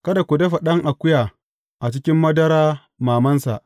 Kada ku dafa ɗan akuya a cikin madara mamansa.